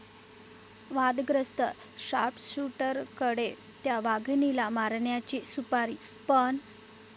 वादग्रस्त शार्पशूटरकडे 'त्या' वाघिणीला मारण्याची सुपारी, पण...!